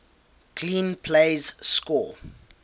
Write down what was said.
clean plays score